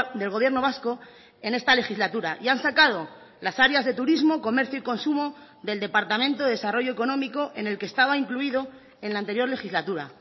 del gobierno vasco en esta legislatura y han sacado las áreas de turismo comercio y consumo del departamento de desarrollo económico en el que estaba incluido en la anterior legislatura